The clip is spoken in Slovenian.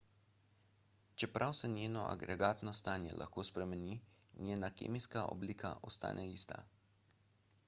čeprav se njeno agregatno stanje lahko spremeni njena kemijska oblika ostane ista